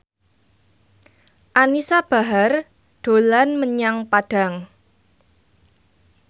Anisa Bahar dolan menyang Padang